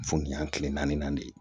Furuya kile naani de ye